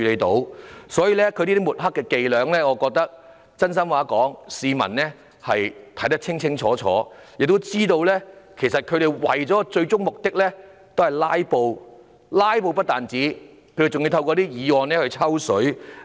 所以，說真心話，這些抹黑的伎倆，我覺得市民看得清清楚楚，亦知道他們最終是為了"拉布"——不單是"拉布"，還要透過議案"抽水"。